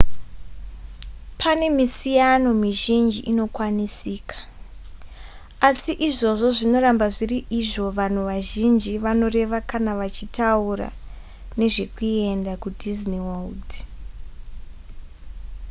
pane misiyano mizhinji inokwanisika asi izvozvo zvinoramba zviri izvo vanhu vazhinji vanoreva kana vachitaura nezvekuenda kudisney world